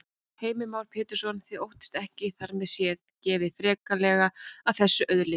Heimir Már Pétursson: Þið óttist ekki að þar með sé gengið freklega að þessari auðlind?